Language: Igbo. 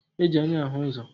E ji anya ahụ ụzọ